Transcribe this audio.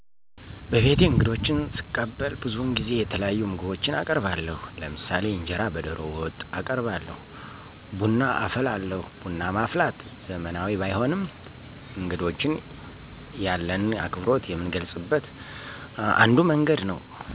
በቤቴ እንግዶች ስቀበል ብዙውን ጊዜ የተለያዩ ምግቦችን አቀርባለሁ። ለምሳሌ እንጀራ በደሮ ወጥ አቀርባለሁ ቡና አፈላለሁ ቡና ማፍላት ዘመናዊ ባይሆንም እንግዶችን ያለንን አክብሮት የምንገልጽበት አንዱ መንገድ ነው።